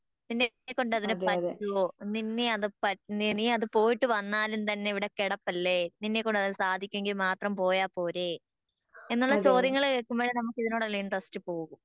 നിന്നെക്കൊണ്ട് അതിന് പറ്റുവോ നിന്നെ അത് പ നീ അത് പോയിട്ട് വന്നാലും തന്നെ ഇവിടെ കെടപ്പല്ലേ നിന്നെക്കൊണ്ട് അതിന് സാധിക്കൊങ്ങി മാത്രം പോയ പോരെ എന്നുള്ള ചോദ്യങ്ങള് കേൾക്കുമ്പോളെ നമുക്ക് ഇതിനോടുള്ള ഇൻട്രസ്റ്റ് പോകും